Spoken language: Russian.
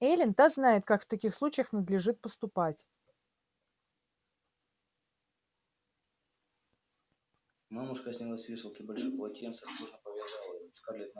эллин-та знает как в таких случаях надлежит поступать